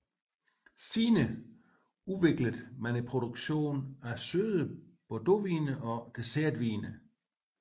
Senere udviklede man produktionen af søde bordvine og dessertvine